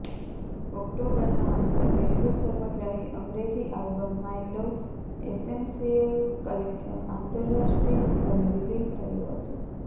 ઓક્ટોબરના અંતે પહેલું સર્વગ્રાહી અંગ્રેજી આલ્બમ માય લવઃએસ્સેન્શ્યિલ કલેક્શન આંતરરાષ્ટ્રીય સ્તરે રીલીઝ થયું હતું